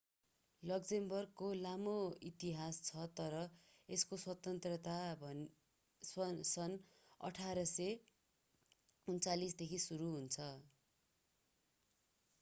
लक्जमबर्गको लामो इतिहास छ तर यसको स्वतन्त्रता सन् 1839 देखि सुरु हुन्छ